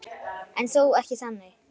En þó ekki þannig.